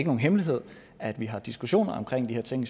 nogen hemmelighed at vi har diskussioner om de her ting